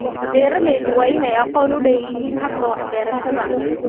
Beeraleydu waa in ay aqoon u leeyihiin hababka wax-beerashada.